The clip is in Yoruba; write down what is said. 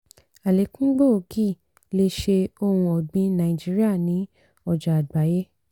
àlékún gbòógì lè ṣe ohun ọ̀gbìn nàìjíríà ní ọjà àgbáyé.